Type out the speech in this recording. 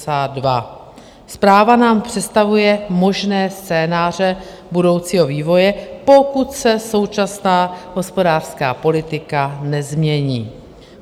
Zpráva nám představuje možné scénáře budoucího vývoje, pokud se současná hospodářská politika nezmění.